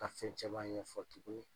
Ka fɛn caman ɲɛfɔ tuguni .